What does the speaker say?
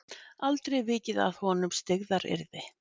Aldrei vikið að honum styggðaryrði.